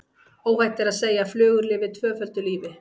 Óhætt er að segja að flugur lifi tvöföldu lífi.